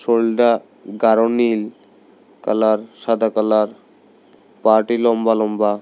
শরীলডা গারো নীল কালার সাদা কালার পাটি লম্বা লম্বা।